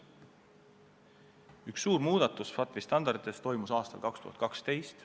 Üks suur muudatus FATF-i standardites tehti aastal 2012.